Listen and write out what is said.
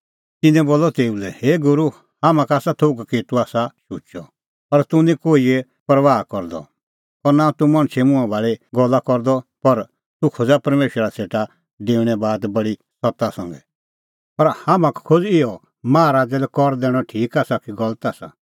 तिन्नैं बोलअ तेऊ लै हे गूरू हाम्हां का आसा थोघ कि तूह आसा शुचअ और तूह निं कोहिए परबाह करदअ और नां तूह मणछे मुंहां भाल़ी गल्ला करदअ पर तूह खोज़ा परमेशरा सेटा डेऊणे बात बडी सत्त संघै पर हाम्हां का खोज़ इहअ माहा राज़ै लै कारअ दैणअ ठीक आसा कि गलत आसा